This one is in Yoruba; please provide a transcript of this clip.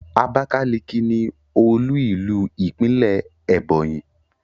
Abakalaki ni olu ilu ipinle Ebonyi